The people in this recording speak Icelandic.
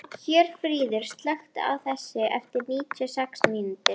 Hjörfríður, slökktu á þessu eftir níutíu og sex mínútur.